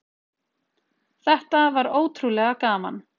Þetta var ótrúlega gaman